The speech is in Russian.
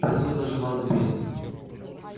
просил даже вас запереть